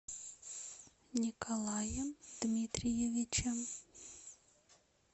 николаем дмитриевичем